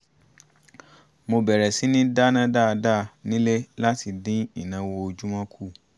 mo bẹ̀rẹ̀ síní dáná dáadáa nílé láti dín ìnáwó ojúmọ́ kù